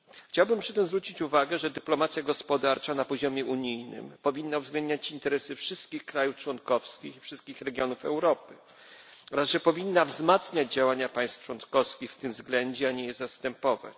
Chciałbym przy tym zwrócić uwagę, że dyplomacja gospodarcza na poziomie unijnym powinna uwzględniać interesy wszystkich krajów członkowskich i wszystkich regionów Europy oraz że powinna wzmacniać działania państw członkowskich w tym względzie, a nie je zastępować.